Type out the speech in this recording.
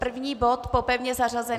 První bod po pevně zařazených?